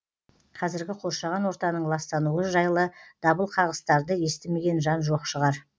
қазіргі қоршаған ортаның ластануы жайлы дабылқағыстарды естімеген жан жоқ шығар